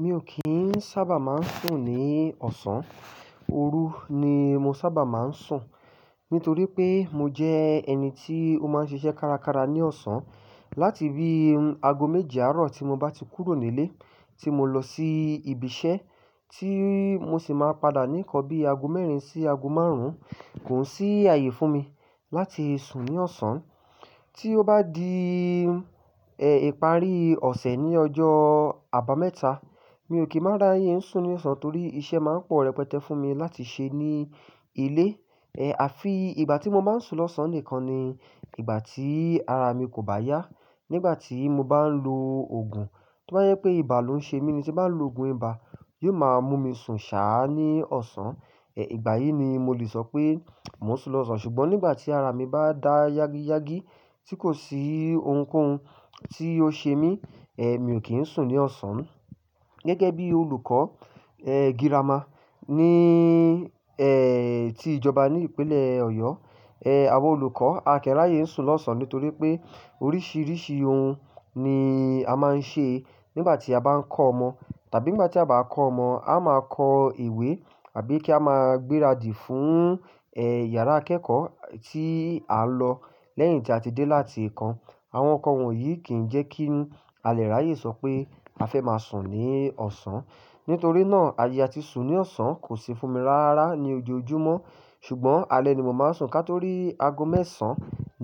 Mi ò kín sábà máa ń sùn ní ọ̀sán, òru ni mo sábà máa ń sùn. Nítorí pé mo jẹ́ ẹni tí ó máa ń ṣiṣẹ́ kárakára ní ọ̀sán. Láti bí ago méje àárọ̀ tí mo bá ti kúrò nílé tí mo lọ sí ibi iṣẹ́ tí mo sì máa padà ní nkan bí ago mẹ́rin sí ago márùn-ún, kò sí ààyè fún mi láti sùn ní ọ̀sán. Tí ó bá di, ìparí ọ̀sẹ̀ ní ọjọ́ àbámẹ́ta, mi ò kí máa ra ye ń sùn ní ọ̀sán torí iṣẹ́ máa ń pọ̀ rẹpẹtẹ fún mi láti ṣe ní ilé. E, àfi ìgbà tí mo máa ń sùn lọ́sàn-án nìkan ni ìgbà tí ara mi kò bá yá. Nígbà tí mo bá ń lo òògùn, tó bá jẹ pé ibà ló ń ṣe mí ni tí n ba lo òògùn ibà, yóò máa mú mi sùn ṣáà ní ọ̀sán. Ìgbà yìí ni mo lè sọ pé mò ń sùn lọ́sàn-án. Ṣùgbọ́n nígbà tí ara mi bá dá yágíyágí tí kò sí ohunkóhun tí ó ṣe mí, mi ò kí ń sùn ní ọ̀sán. Gẹ́gẹ́ bí olùkọ́, girama ní tí ìjọba ní ìpínlẹ̀ Ọ̀yọ́, àwa olùkọ́ a kin ráye sùn lọ́sàn-án nítorí pé oríṣiríṣi ohun ni a máa ń ṣe nígbà tí a bá ń kọ́ ọmọ. Tàbí nígbà tí a bá kọ́ ọmọ, a máa kọ ìwé àbí kí a máa gbéradì fún, yàrá akẹ́kọ̀ọ́ tí a n lọ lẹ́yìn tí a ti dé láti ikàn. Àwọn nǹkan wọ̀nyí kì í jẹ́ kí a lè ráyè sọ pé a fẹ́ máa sùn ní ọ̀sán. Nítorí náà ààyè a ti sùn ní ọ̀sán kò sì fún mi rárá ní ojoojúmọ́. Ṣùgbọ́n alẹ́ ni mo máa ń sùn kátó rí ago mẹ́sàn-án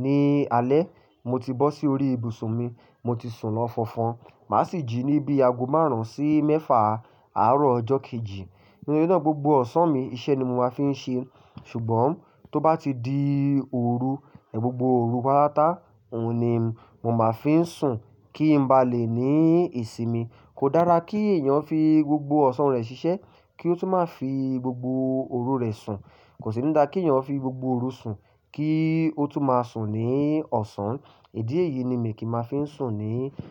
ní alẹ́ mo ti bọ́ sí orí ibùsùn mi, mo ti sùn lọ́ fọfọ́n. Màá sì jí ní bí ago márùn-ún sí mẹ́fa àárọ̀ ọjọ́ kejì. Nítorí náà gbogbo ọ̀sán mi iṣẹ́ ni mo máa fi ń ṣe. Ṣùgbọ́n tó bá ti di òru, gbogbo òru pátápátá òun ni mo máa fi ń sùn kí n ba lè ní ìsinmi. Kò dára kí èèyàn fi gbogbo ọ̀sán rẹ̀ ṣiṣẹ́ kí ó tún máa fi gbogbo òru rẹ̀ sùn. Kò sì ní dá kí èèyàn fi gbogbo òru sùn kí ó tún máa sùn ní ọ̀sán. Idi èyí ni mi kì máa fi ń sùn ní.